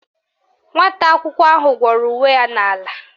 Nwata akwụkwọ ahụ gwọrọ uwe ya n'ala